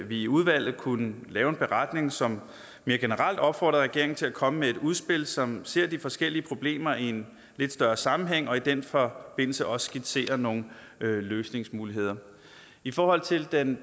vi i udvalget kunne lave en beretning som mere generelt opfordrer regeringen til at komme med et udspil som ser de forskellige problemer i en lidt større sammenhæng og i den forbindelse også skitserer nogle løsningsmuligheder i forhold til den